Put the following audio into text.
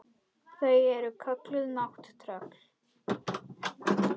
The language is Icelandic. Þau eru kölluð nátttröll.